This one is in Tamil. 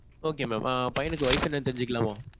Okay mam. பையனுக்கு வயசு என்னன்னு தெரிஞ்சுக்கலாமா?